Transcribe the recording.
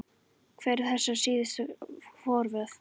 Hver eru þessi síðustu forvöð?